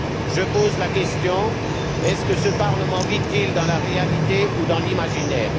Je pose la question suivante ce parlement vit il dans la réalité ou dans l'imaginaire?